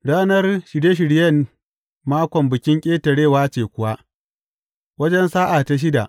Ranar Shirye shiryen Makon Bikin Ƙetarewa ce kuwa, wajen sa’a ta shida.